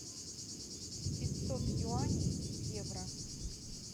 пятьсот юаней в евро